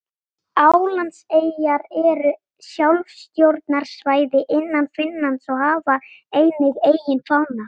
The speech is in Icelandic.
Álandseyjar eru sjálfstjórnarsvæði innan Finnlands og hafa einnig eigin fána.